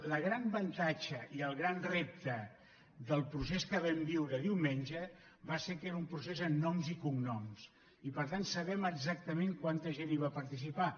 el gran avantatge i el gran rep·te del procés que vam viure diumenge va ser que era un procés amb noms i cognoms i per tant sabem exactament quanta gent hi va participar